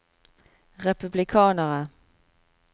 republikanere